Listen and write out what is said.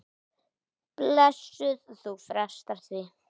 Blessuð, þú frestar því.